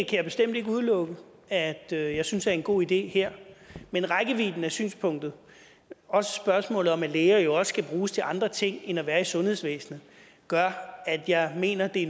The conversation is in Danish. jeg bestemt ikke udelukke at jeg jeg synes er en god idé her men rækkevidden af synspunktet og spørgsmålet om at læger jo også skal bruges til andre ting end at være i sundhedsvæsenet gør at jeg mener vi